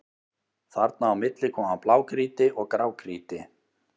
Þarna á milli koma blágrýti og grágrýti.